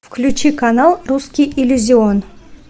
включи канал русский иллюзион